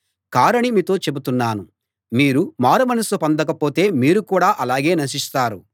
కారని మీతో చెబుతున్నాను మీరు మారుమనస్సు పొందకపోతే మీరు కూడా అలాగే నశిస్తారు